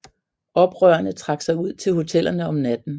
Oprørerne trak sig ud til hotellerne om natten